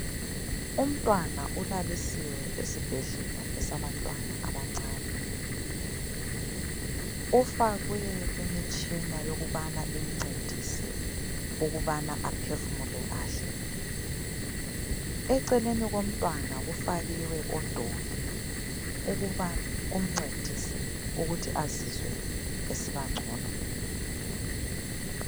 Umntwana ulalisiwe esibhedlela esabantwana abancane, ufakwe imitshina yokubana imncedise ukubana aphefumule kahle, eceleni komntwana kufakiwe odoli ukuba kumncedise ukuthi azizwe esiba ngcono.